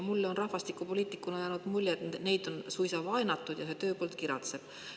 Mulle rahvastikupoliitikuna on jäänud mulje, et neid on suisa vaenatud, ja tööpõld kiratseb.